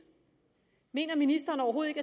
mener ministeren overhovedet